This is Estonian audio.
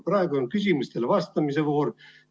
Praegu on küsimustele vastamise voor.